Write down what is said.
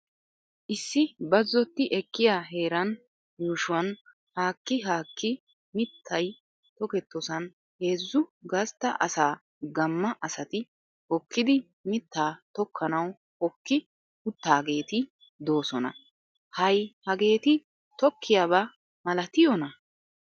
Issi bazzotti ekkiya heeraan yuushshuwaan haakki haakki mittay toketosaan heezzu gastta asa gamma asati hokkidi mittaa tokkanawu hokki uttaageeti doosona. Hay hageeeti tokkiyaabaa malatiyona?